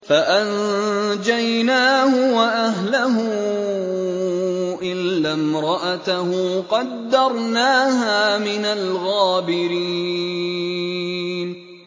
فَأَنجَيْنَاهُ وَأَهْلَهُ إِلَّا امْرَأَتَهُ قَدَّرْنَاهَا مِنَ الْغَابِرِينَ